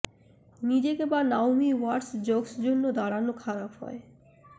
নিজেকে বা Naomi Watts jokes জন্য দাঁড়ানো খারাপ হয়